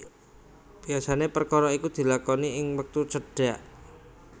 Biasané pekara iki dilakoni ing wektu cendhak